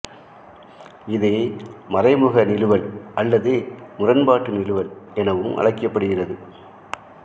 இது மறைமுக நிறுவல் அல்லது முரண்பாட்டு நிறுவல் எனவும் அழைக்கப்படுகிறது